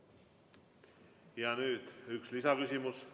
Nüüd üks lisaküsimus.